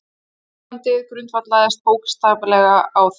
Hjónabandið grundvallaðist bókstaflega á þeim.